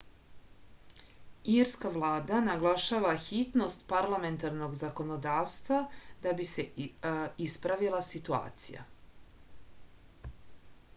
irska vlada naglašava hitnost parlamentarnog zakonodavstva da bi se ispravila situacija